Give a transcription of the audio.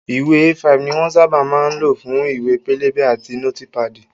Ìwé A5 ni wón sábà máa ń lò fún ìwé pélébé àti nótípàdì